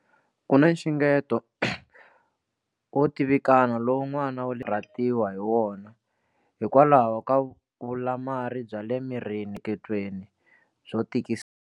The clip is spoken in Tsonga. Ku na nxungeto wo tivikana lowu n'wana wa ta karhatiwa hi wona hikwalaho ka vulamari bya le mirini miehleketweni byo tikisa.